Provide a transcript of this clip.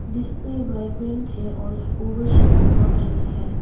Display vibrate है और over stock लग रही है।